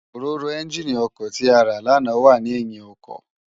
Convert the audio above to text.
Óróró ènjiní òkò ti àrá làná wà ni èyín òkò